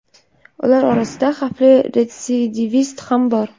ular orasida xavfli retsidivist ham bor.